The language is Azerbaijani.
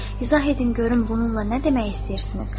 İzah edin görüm bununla nə demək istəyirsiniz?